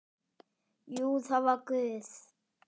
Jú, það var Guð.